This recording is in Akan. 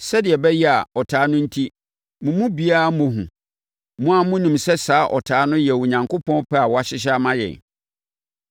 sɛdeɛ ɛbɛyɛ a, ɔtaa no enti, mo mu biara mmɔ hu. Mo ara monim sɛ saa ɔtaa no yɛ Onyankopɔn pɛ a wahyehyɛ ama yɛn.